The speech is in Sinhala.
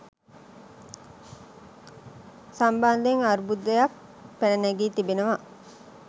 සම්බන්ධයෙන් අර්බුදයක් පැන නැගී තිබෙනවා.